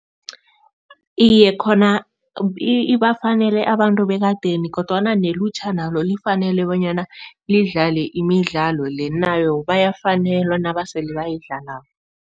Iye, khona ibafanele abantu bekadeni kodwana nelutjha nalo lifanele bonyana lidlale imidlalo le. Nabo bayafanelwa nabasele bayidlalako.